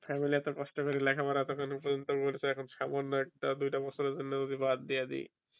তাই বলে এতো কষ্ট করে লেখা পড়া পর্যন্ত করছ এখন সামান্য একটা দুইটা বছর এর জন্য যদি বাদ দিয়া দিই